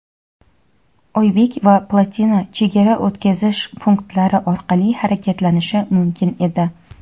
"Oybek" va "Plotina" chegara o‘tkazish punktlari orqali harakatlanishi mumkin edi.